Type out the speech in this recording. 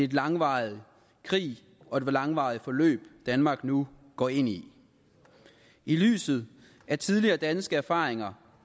langvarig krig og et langvarigt forløb danmark nu går ind i i lyset af tidligere danske erfaringer